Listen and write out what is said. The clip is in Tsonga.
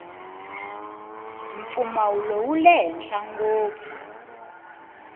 mpfumawulo wule henhla ngopfu